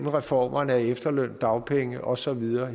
af reformer af efterløn dagpenge og så videre